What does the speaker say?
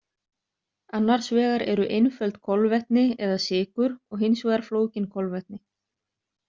Annars vegar eru einföld kolvetni eða sykur og hins vegar flókin kolvetni.